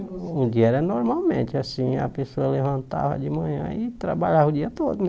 Um dia era normalmente, assim, a pessoa levantava de manhã e trabalhava o dia todo, né?